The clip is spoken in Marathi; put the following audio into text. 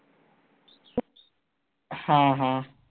हां हां